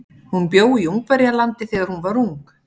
Hún bjó í Ungverjalandi þegar hún var ung.